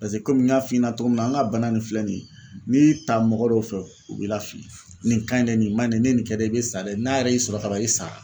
Pase komi n y'a f'i ɲɛna togo min na an ŋa bana nin filɛ nin ye n'i y'i ta mɔgɔ dɔw fɛ u b'i lafili. Nin ka ɲi dɛ nin ma ɲi dɛ n'i ye nin kɛ dɛ i bɛ sa dɛ n'a yɛrɛ y'i sɔrɔ kaban i sara.